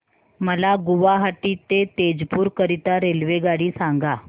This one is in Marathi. मला गुवाहाटी ते तेजपुर करीता रेल्वेगाडी सांगा